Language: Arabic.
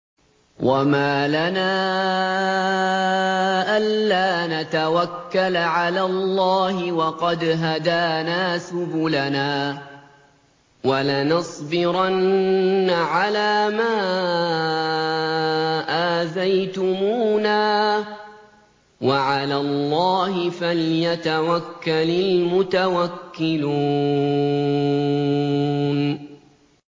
وَمَا لَنَا أَلَّا نَتَوَكَّلَ عَلَى اللَّهِ وَقَدْ هَدَانَا سُبُلَنَا ۚ وَلَنَصْبِرَنَّ عَلَىٰ مَا آذَيْتُمُونَا ۚ وَعَلَى اللَّهِ فَلْيَتَوَكَّلِ الْمُتَوَكِّلُونَ